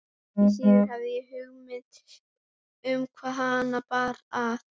Því síður hafði ég hugmynd um hvaðan hana bar að.